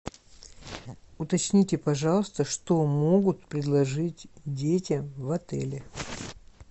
уточните пожалуйста что могут предложить детям в отеле